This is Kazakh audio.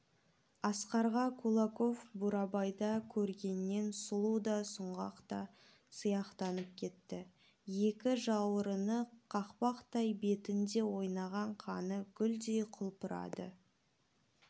асқарға кулаков бурабайда көргеннен сұлу да сұңғақ та сияқтанып кетті екі жауырыны қақпақтай бетінде ойнаған қаны гүлдей құлпырады